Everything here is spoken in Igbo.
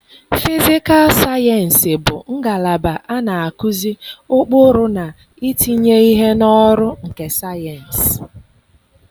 fịsịkal sayensị bụ ngalaba a na-akụzi ụkpụrụ na itinye ihe n'ọrụ nke sayensị.